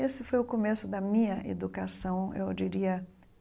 Esse foi o começo da minha educação, eu diria.